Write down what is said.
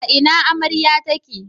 A ina amarya take?